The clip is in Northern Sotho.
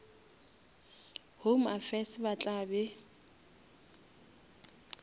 home affairs ba tla be